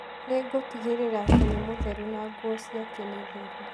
Nĩ ngũtigĩrĩra atĩ nĩ mũtheru na nguo ciake nĩ theru.